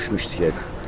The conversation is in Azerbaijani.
Həyətdə hara düşmüşdü?